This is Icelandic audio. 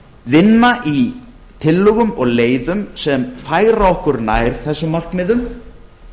vinna í tillögum og leiðum sem færa okkur nær þessum markmiðum